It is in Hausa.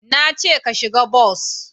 Na ce ka shiga bas!